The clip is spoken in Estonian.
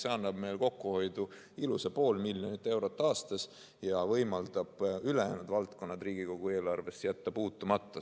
See annab kokkuhoidu ilusa pool miljonit eurot aastas ja võimaldab ülejäänud valdkonnad Riigikogu eelarves jätta puutumata.